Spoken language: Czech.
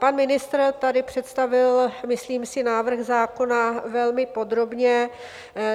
Pan ministr tady představil, myslím si, návrh zákona velmi podrobně.